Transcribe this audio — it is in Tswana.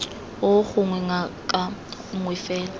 oo gongwe ngaka nngwe fela